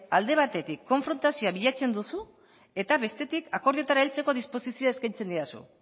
alde batetik konfrontazioa bilatzen duzu eta bestetik akordioetara heltzeko disposizioa eskaintzen didazu